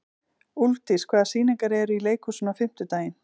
Úlfdís, hvaða sýningar eru í leikhúsinu á fimmtudaginn?